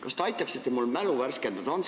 Kas te aitaksite mul mälu värskendada?